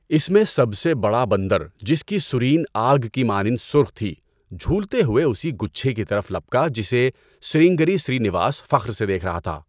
اس میں سب سے بڑا بندر، جس کی سرین آگ کی مانند سرخ تھی، جھولتے ہوئے اسی گچھے کی طرف لپکا جسے سرنگیری سرینیواس فخر سے دیکھ رہا تھا۔